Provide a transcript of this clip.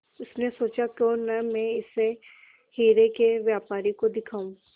उसने सोचा क्यों न मैं इसे हीरे के व्यापारी को दिखाऊं